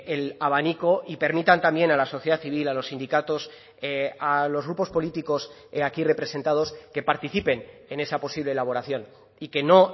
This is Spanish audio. el abanico y permitan también a la sociedad civil a los sindicatos a los grupos políticos aquí representados que participen en esa posible elaboración y que no